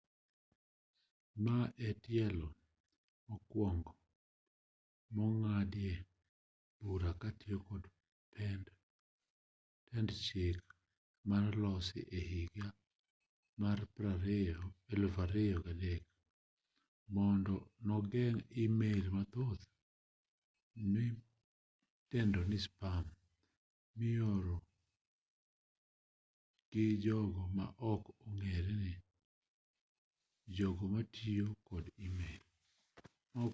ma e tielo mokwongo mong'adie bura kitiyo kod pend chik manolosi e higa mar 2003 mondo nogeng' email mathoth midendo ni spam mioro gi jogo ma ok ong'ere ne jogo matiyo kod email